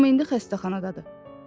Amma indi xəstəxanadadır.